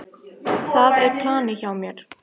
Það er planið hjá mér.